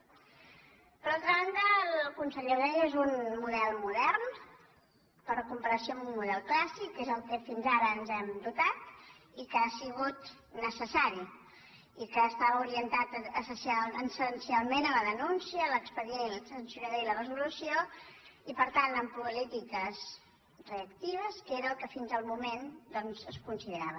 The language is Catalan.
per altra banda el conseller ho deia és un model mo·dern per comparació amb un model clàssic que és del que fins ara ens hem dotat i que ha sigut necessari i que estava orientat essencialment a la denúncia a l’expe·dient sancionador i a la resolució i per tant amb políti·ques reactives que era el que fins el moment es conside·rava